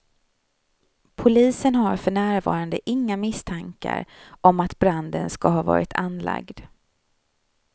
Polisen har för närvarande inga misstankar om att branden ska ha varit anlagd.